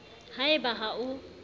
ha e ba ha o